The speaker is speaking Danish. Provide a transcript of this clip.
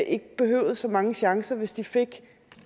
ikke behøvede så mange chancer hvis de fik